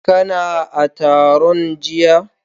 Kana a taron jiya?